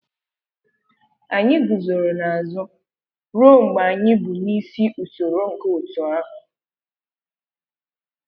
Anyị guzoro n'azụ ruo mgbe anyị bu n'isi usoro nke otu ahụ